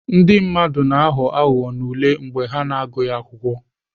Ndị mmadụ na-aghọ aghụghọ n'ule mgbe ha na-agụghị akwụkwọ.